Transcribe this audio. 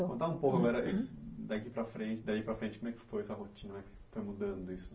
Contar um pouco agora, daqui para frente, daí para frente como é que foi essa rotina, como é que foi mudando isso